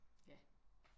Ja